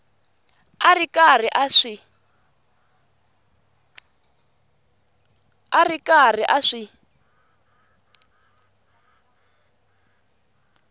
a ri karhi a swi